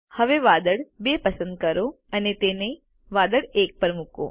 હવે વાદળ 2 પસંદ કરો અને તેને વાદળ 1 પર મૂકો